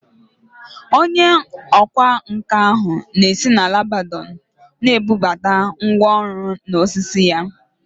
Onye ọkwá nkà ahụ na-esi na Lebanọn na-ebubata ngwá ọrụ na osisi ya